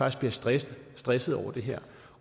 også bliver stresset stresset over det her